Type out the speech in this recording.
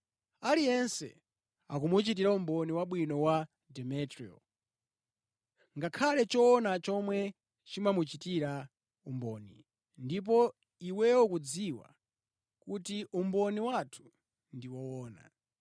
Aliyense akumuchitira umboni wabwino wa Demetriyo. Ngakhale choona chomwe chimamuchitira umboni, ndipo iweyo ukudziwa kuti umboni wathu ndi woona.